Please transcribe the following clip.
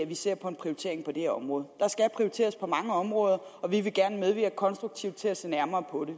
vi ser på en prioritering på det her område skal prioriteres på mange områder og vi vil gerne medvirke konstruktivt til at se nærmere på det